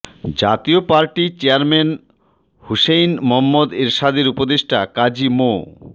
জাতীয় party chairman Hussain Muhammad এরশাদের উপদেষ্টা কাজী মো